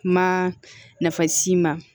Kuma nafa si ma